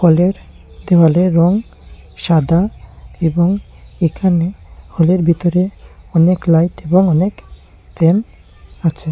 হলের দেওয়ালে রং সাদা এবং এখানে হলের ভিতরে অনেক লাইট এবং অনেক ফ্যান আছে।